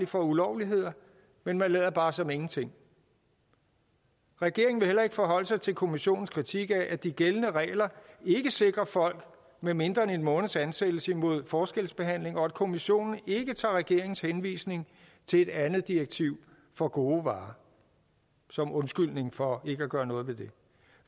for ulovligheder men man lader bare som ingenting regeringen vil heller ikke forholde sig til kommissionens kritik af at de gældende regler ikke sikrer folk med mindre end en måneds ansættelse imod forskelsbehandling og at kommissionen ikke tager regeringens henvisning til et andet direktiv for gode varer som undskyldning for ikke at gøre noget ved det